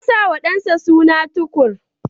Ya sa wa ɗansa suna Tukur.